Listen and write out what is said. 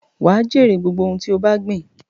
Wà á jèrè gbogbo ohun tí ó bá gbìn.